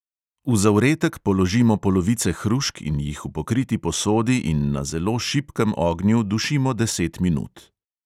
V zavretek položimo polovice hrušk in jih v pokriti posodi in na zelo šibkem ognju dušimo deset minut.